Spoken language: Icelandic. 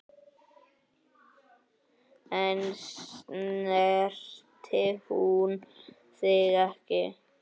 En snertir hún þig ekki?